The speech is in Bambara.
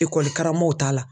Ekɔli karamɔgɔɔw t'a la.